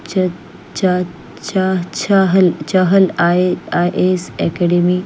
Chahal IIAS academy --